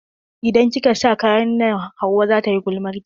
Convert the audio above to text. Idan kika sa kayan nan hauwa zata yi gulmarki.